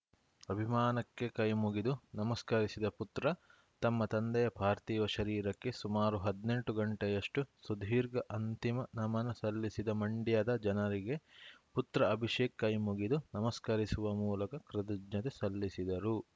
ಅಭಿಮಾನಕ್ಕೆ ಕೈಮುಗಿದು ನಮಸ್ಕರಿಸಿದ ಪುತ್ರ ತಮ್ಮ ತಂದೆಯ ಪಾರ್ಥಿವ ಶರೀರಕ್ಕೆ ಸುಮಾರು ಹದ್ನೆಂಟು ಗಂಟೆಯಷ್ಟುಸುದೀರ್ಘ ಅಂತಿಮ ನಮನ ಸಲ್ಲಿಸಿದ ಮಂಡ್ಯದ ಜನರಿಗೆ ಪುತ್ರ ಅಭಿಷೇಕ್‌ ಕೈಮುಗಿದು ನಮಸ್ಕರಿಸುವ ಮೂಲಕ ಕೃತಜ್ಞತೆ ಸಲ್ಲಿಸಿದರು